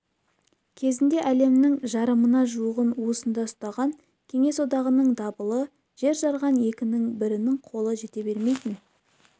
кезінде әлемнің жарымына жуығын уысында ұстаған кеңес одағының дабылы жер жарған екінің бірінің қолы жете бермейтін